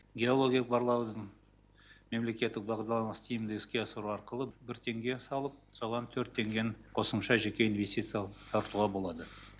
геологиялық барлаудың мемлекеттік бағдарламасын тиімді іске асыру арқылы бір теңге салып соған төрт теңгені қосымша инвестиция тартуға болады